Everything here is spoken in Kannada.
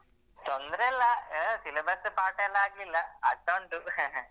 ತೊಂದ್ರೆ ಇಲ್ಲ syllabus ಪಾಠ ಎಲ್ಲ ಆಗ್ಲಿಲ್ಲ ಆಗ್ತಾ ಉಂಟು